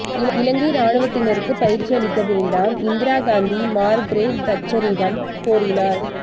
இலங்கை இராணுவத்தினருக்குப் பயிற்சியளிக்க வேண்டாம் இந்திரா காந்தி மார்கிரட் தட்சரிடம் கோரினார்